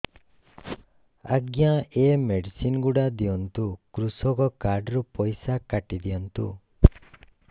ଆଜ୍ଞା ଏ ମେଡିସିନ ଗୁଡା ଦିଅନ୍ତୁ କୃଷକ କାର୍ଡ ରୁ ପଇସା କାଟିଦିଅନ୍ତୁ